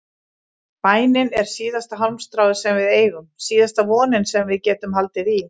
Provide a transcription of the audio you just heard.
Bænin er síðasta hálmstráið sem við eigum, síðasta vonin sem við getum haldið í.